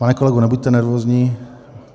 Pane kolego, nebuďte nervózní. .